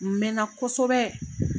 N mɛn na kosobɛ.